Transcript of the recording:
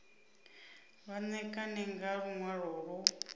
vha ṋekane nga luṅwalo lu